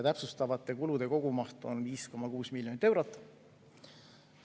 Täpsustatavate kulude kogumaht on 5,6 miljonit eurot.